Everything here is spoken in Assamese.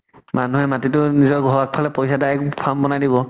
মানুহে মাটিটো নিজৰ ঘৰৰ ফালে পইচা আদাই farm বনাই দিব।